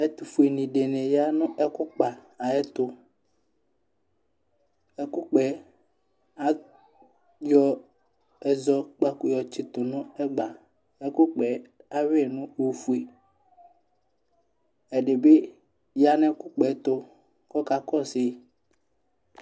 ɛtʊfue alʊɛdɩnɩ ya nʊ ɛkʊkpa ay'ɛtʊ, ɛkʊkpa yɛ ayɔ ɛzɔ kpakʊ yɔ tsitʊ nʊ ɛgba, awui ɛkʊkpa yɛ nʊ ofue, ɛdɩ bɩ ya nʊ ɛkʊkpa yɛtʊ kʊ ɔkakɔsu yi